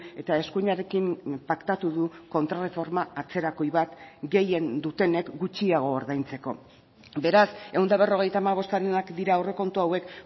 eta eskuinarekin paktatu du kontrarreforma atzerakoi bat gehien dutenek gutxiago ordaintzeko beraz ehun eta berrogeita hamabostarenak dira aurrekontu hauek